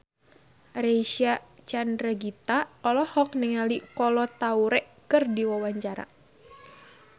Reysa Chandragitta olohok ningali Kolo Taure keur diwawancara